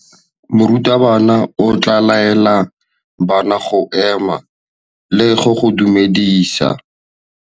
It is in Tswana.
Morutabana o tla laela bana go ema le go go dumedisa.